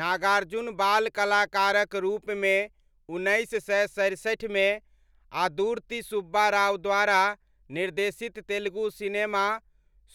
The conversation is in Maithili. नागार्जुन बाल कलाकारक रूपमे उन्नैस सय सरसठिमे आदुर्ति सुब्बा राव द्वारा निर्देशित तेलुगु सिनेमा